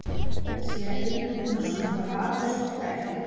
Séra Einar Guðnason var vafalaust okkar eftirlæti.